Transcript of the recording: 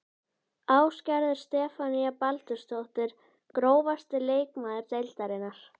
Ásgerður Stefanía Baldursdóttir Grófasti leikmaður deildarinnar?